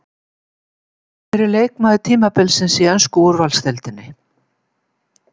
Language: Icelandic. Hver er leikmaður tímabilsins í ensku úrvalsdeildinni?